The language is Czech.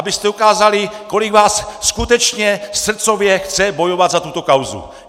Abyste ukázali, kolik vás skutečně srdcově chce bojovat za tuto kauzu!